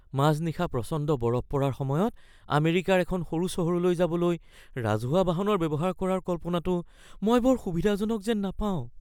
মাজনিশা প্ৰচণ্ড বৰফ পৰাৰ সময়ত আমেৰিকাৰ এখন সৰু চহৰলৈ যাবলৈ ৰাজহুৱা বাহন ব্যৱহাৰ কৰাৰ কল্পনাটো মই বৰ সুবিধাজনক যেন নাপাওঁ।